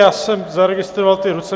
Já jsem zaregistroval ty ruce.